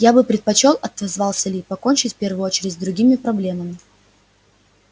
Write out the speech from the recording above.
я бы предпочёл отозвался ли покончить в первую очередь с другими проблемами